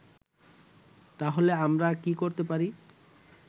তাহলে আমরা কি করতে পারি